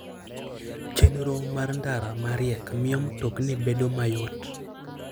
Chenro mar ndara ma riek miyo mtokni bedo mayot.